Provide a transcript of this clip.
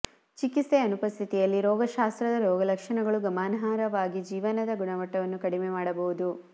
ಚಿಕಿತ್ಸೆಯ ಅನುಪಸ್ಥಿತಿಯಲ್ಲಿ ರೋಗಶಾಸ್ತ್ರದ ರೋಗಲಕ್ಷಣಗಳು ಗಮನಾರ್ಹವಾಗಿ ಜೀವನದ ಗುಣಮಟ್ಟವನ್ನು ಕಡಿಮೆ ಮಾಡಬಹುದು